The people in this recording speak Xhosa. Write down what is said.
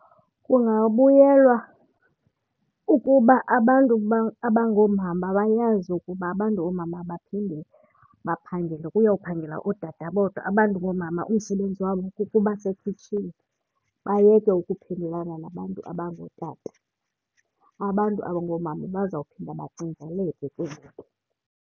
Kungabuyelwa ukuba abantu abangoomama bayazi ukuba abantu oomama abaphinde baphangele kuyophangela ootata bodwa. Abantu ngoomama umsebenzi wabo kukuba sekhitshini bayeke ukuphendulana nabantu abangootata. Abantu abangoomama bazawuphinda bacingeleke ke ngoku.